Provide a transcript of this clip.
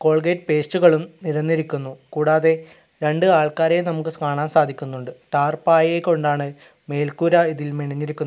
Colgate പേസ്റ്റുകളും നിരന്നിരിക്കുന്നു കൂടാതെ രണ്ട് ആൾക്കാരെ നമുക്ക് സ് കാണാൻ സാധിക്കുന്നുണ്ട് ടാർപായെ കൊണ്ടാണ് മേൽക്കൂര ഇതിൽ മെനഞ്ഞിരിക്കുന്നത്.